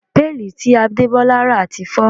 Péèlì tí Adebola rà ti fọ́